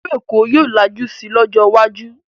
Ìlú Èkó yóò lajú si lọ́jọ́ iwájú